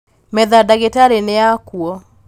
metha ya ndagĩtarĩ nĩyakuo